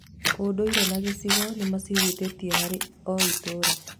Ũndũire na gĩcigo nĩ macihutĩtie harĩ o itũũra.